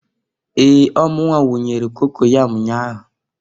Ee! Ọ mụnwa wunyere cocoyam nnya ahụ.